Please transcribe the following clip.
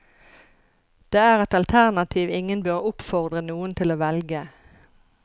Det er et alternativ ingen bør oppfordre noen til å velge.